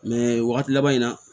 wagati laban in na